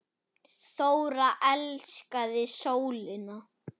Þóra elskaði sólina.